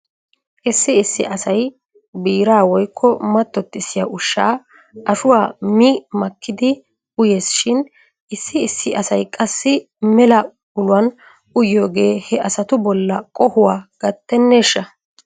Issi issi asay biiraa woykko mattottissiyaa ushshaa ashuwaa mi makkidi uyes shin issi issi asay qassi mela uluwan uyiyoogee he asatu bolla qohuwaa gatteneeshsha?